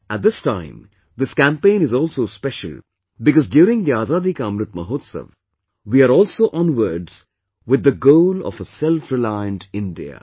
At this time, this campaign is also special because during the Azadi Ka Amrit Mahotsav, we are also onwards with the goal of a selfreliant India